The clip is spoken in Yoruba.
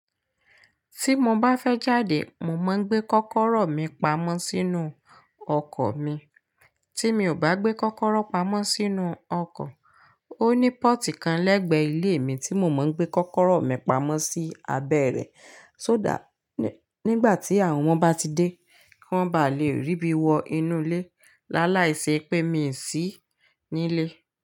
Tí mo bá fẹ́ jáde, mo máa ń gbé kọ́kọ́rọ́ mi pamọ́ sínú ọkọ̀ mi, tí mi ò bá gbé kọ́kọ́rọ́ pamọ́ sínú ọkọ̀, ó ní pọ́ọ̀tì kan lẹ́gbẹ̀ẹ́ ilé mi tí mo máa ń gbé kọ́kọ́rọ́ mi pamọ́ sí abẹ́ rẹ̀, só dà nígbà tí àwọn ọmọ bá ti dé, kí wọ́n bá lè rí bí wọ inú ilé, láláì ṣe pé mi sì nílé.